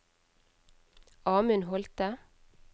Amund Holte